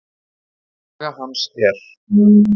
Saga hans er